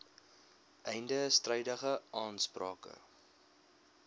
einde strydige aansprake